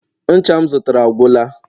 ncha m zụtara agwụla